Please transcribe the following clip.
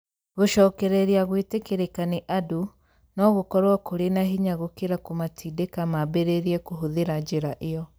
Gũcokereria gwĩtĩkĩrĩka nĩ andũ no gũkorũo kũrĩ na hinya gũkĩra kũmatindĩka maambĩrĩrie kũhũthĩra njĩra ĩyo.